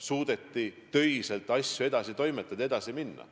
Suudeti töiselt asju edasi toimetada, edasi minna.